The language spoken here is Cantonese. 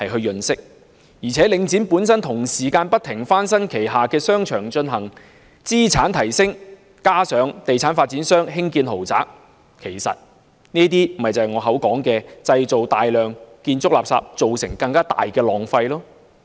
而且，領展本身同時不停翻新旗下商場，進行資產提升，加上地產發展商興建豪宅，其實這些便是我所說製造大量建築垃圾，造成更大浪費的項目。